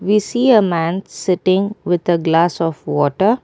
we see a man sitting with a glass of water.